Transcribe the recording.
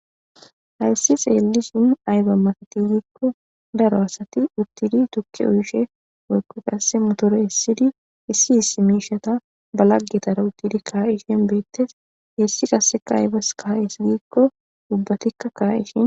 hayssi xeeli sun ayba mafeti giikko daro asati uttidi tukki oyshe woykqo qasse motore hessidi hissi hiss miishata balaggetara uttidi kaa7ishen beettes hessi qasseka aybas kaha hess gikko dubbatikka kaa7ishin